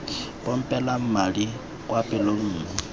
pompelang madi kwa pelong mme